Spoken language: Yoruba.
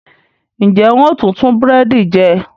Ń jẹ́ ń ó tùn tún búrẹ́dì jẹ